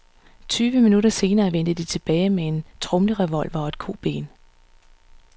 Tyve minutter senere vendte de tilbage med en tromlerevolver og et koben.